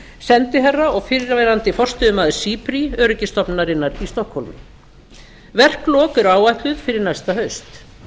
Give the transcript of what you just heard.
sendiherra og fyrrverandi forstöðumaður cipri öryggisstofnunarinnar í stokkhólmi verklok eru áætluð fyrir næsta haust